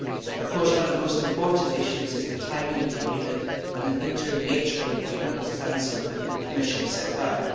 Of course, one of the most important issues is the timing of the agreement and the interim nature of the agreement, as the Council and Commission have set out.